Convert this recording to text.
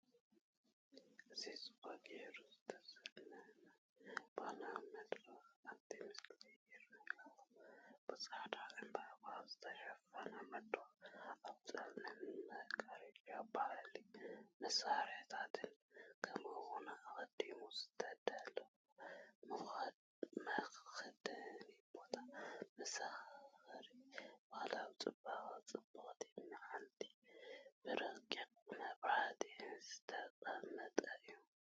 እዚ ጽቡቕ ጌሩ ዝተሰለመ ባህላዊ መድረኽ ኣብቲ ምስሊ ይርአ ኣሎ። ብጻዕዳ ዕምባባታት ዝተሸፈነ መድረኽ፡ ኣብ ጸሊም መጋረጃ ባህላዊ መሳርሒታት፡ ከምኡ’ውን ኣቐዲሙ ዝተዳለወ መኽደኒ ቦታ። መዘኻኸሪ ባህላዊ ጽባቐን ጽብቕቲ መዓልትን፡ ብረቂቕ መብራህቲ ዝተቐመጠ እዩ።